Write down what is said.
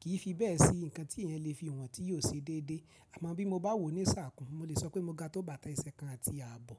kì í fi bẹ́ẹ̀ sí ǹkan tí èèyàn lè fi wọ̀n tí yóò ṣe déédé. Àmọ́ bí mo bá wò ní sà kàn, mo lè sọ pé mo ga tó bàtà ẹsẹ̀ kan àti ààbọ̀.